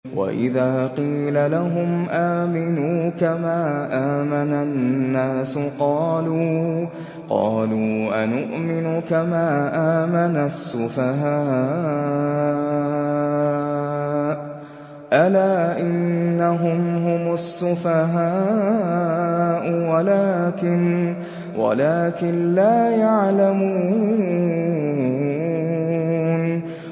وَإِذَا قِيلَ لَهُمْ آمِنُوا كَمَا آمَنَ النَّاسُ قَالُوا أَنُؤْمِنُ كَمَا آمَنَ السُّفَهَاءُ ۗ أَلَا إِنَّهُمْ هُمُ السُّفَهَاءُ وَلَٰكِن لَّا يَعْلَمُونَ